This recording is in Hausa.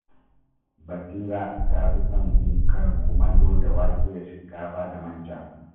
Basira ta fi son yin karin kumallo da da wake da shinkafa da man ja